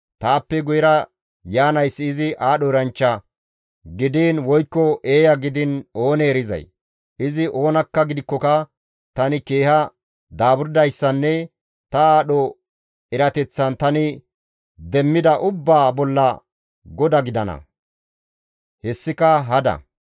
Taappe guyera yaanayssi izi aadho eranchcha gidiin woykko eeya gidiin oonee erizay? Izi oona gidikkoka tani keeha daaburdayssanne ta aadho erateththan tani demmida ubbaa bolla goda gidana; hessika hada.